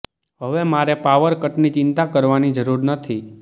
હવે મારે પાવર કટની ચિંતા કરવાની જરૂર નથી